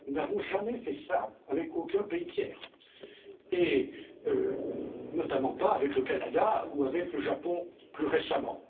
Nous n'avons jamais fait ça avec aucun pays tiers, et notamment pas avec le Canada, ou avec le Japon plus récemment.